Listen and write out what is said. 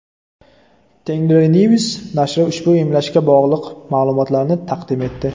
Tengrinews nashri ushbu emlashga bog‘liq ma’lumotlarni taqdim etdi .